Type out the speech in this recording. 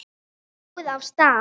Svo er róið af stað.